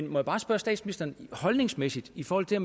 må bare spørge statsministeren holdningsmæssigt i forhold til